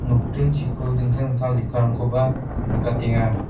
nokdingchiko dingtang dingtang lekkarangkoba nikatenga.